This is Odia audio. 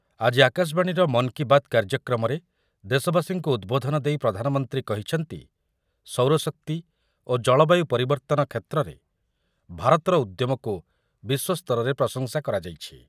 ଆଜି ଆକାଶବାଣୀର ମନ୍ କି ବାତ୍ କାର୍ଯ୍ୟକ୍ରମରେ ଦେଶବାସୀଙ୍କୁ ଉଦ୍‌ବୋଧନ ଦେଇ ପ୍ରଧାନମନ୍ତ୍ରୀ କହିଛନ୍ତି, ସୌରଶକ୍ତି ଓ ଜଳବାୟୁ ପରିବର୍ତ୍ତନ କ୍ଷେତ୍ରରେ ଭାରତର ଉଦ୍ୟମକୁ ବିଶ୍ୱସ୍ତରରେ ପ୍ରଶଂସା କରାଯାଇଛି ।